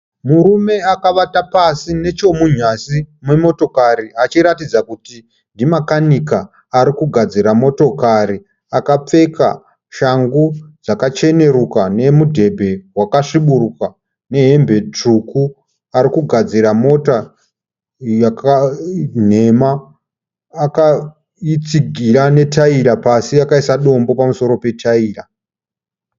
Murume akavata pasi nechemunyasi memotokari achiratidza kuti ndimakanika. Arikugadzira motokari akapfeka shangu dzakacheneruka , nemudhebhe waka sviburuka nehembe tsvuku. Arikugadzira mota nhema, akaitsigira ne taira pasi akaisa dombo pamusoro petaira.